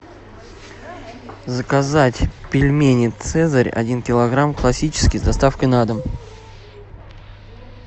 заказать пельмени цезарь один килограмм классические с доставкой на дом